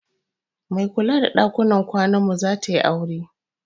Mai kula da ɗakunan kwanan mu zatayi aure